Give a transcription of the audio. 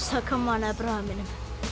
kommóðuna hjá bróður mínum